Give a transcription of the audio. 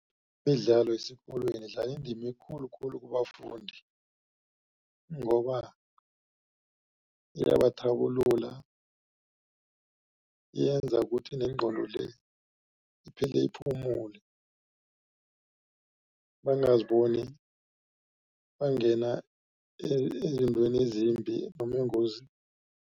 Imidlalo yesikolweni idlala indima khulukhulu kubafundi. Ngoba iyabathabulula yenza ukuthi nengqondo le iphele iphumule bangaziboni bangena ezintweni ezimbi noma engozini.